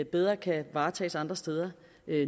bedre kan varetages andre steder